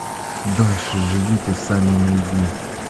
дальше живите сами найди